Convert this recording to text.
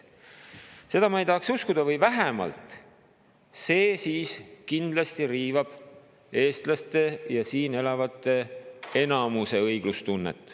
Seda ma ei tahaks uskuda või vähemalt see kindlasti riivab eestlaste ja üldse enamiku siin elavate inimeste õiglustunnet.